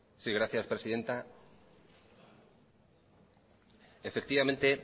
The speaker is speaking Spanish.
gracias presidenta efectivamente